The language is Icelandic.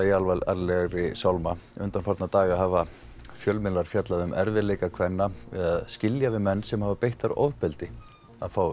í alvarlegri sálma undanfarna daga hafa fjölmiðlar fjallað um erfiðleika kvenna við að skilja við menn sem hafa beitt þær ofbeldi að fá